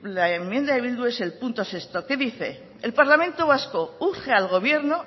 la enmienda de bildu es el punto sexto que dice el parlamento vasco urge al gobierno